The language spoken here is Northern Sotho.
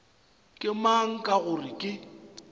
ke mang ka gore ke